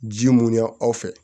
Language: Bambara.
Ji mun y'an fɛ